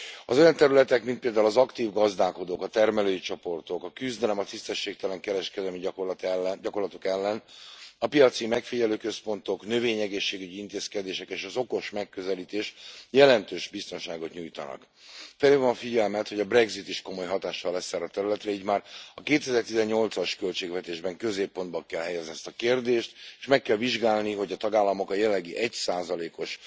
Az olyan területek, mint például az aktív gazdálkodók, a termelői csoportok, a küzdelem a tisztességtelen kereskedelmi gyakorlatok ellen, a piaci megfigyelőközpontok, növényegészségügyi intézkedések, és az okos megközelítés jelentős biztonságot nyújtanak. Felhívom a figyelmet, hogy a brexit is komoly hatással lesz erre a területre, így már a 2018 as költségvetésben középpontba kell helyezni ezt a kérdést, és meg kell vizsgálni, hogy a tagállamok a jelenlegi 1 os